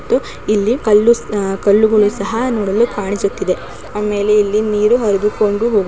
ಮತ್ತು ಇಲ್ಲಿ ಕಲ್ಲು ಕಲ್ಲುಗಳು ಸಹ ನೋಡಲು ಕಾಣಿಸುತ್ತಿದೆ. ಆಮೇಲೆ ಇಲ್ಲಿ ನೀರು ಹರಿದುಕೊಂಡು ಹೋಗುತ್ತಿದೆ.